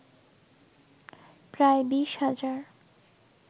প্রায় ২০ হাজার